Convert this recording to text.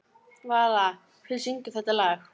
Vala, hver syngur þetta lag?